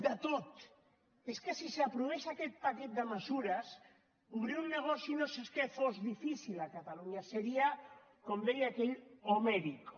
de tot és que si s’aprovés aquest paquet de mesures obrir un negoci no és que fos difícil a catalunya seria com deia aquell homérico